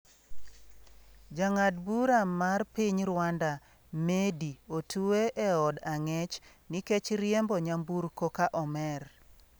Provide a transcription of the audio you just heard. Jang'ad bura mar piny Rwanda, Meddy, otwe e od ang'ech nikech riembo nyamburko ka omer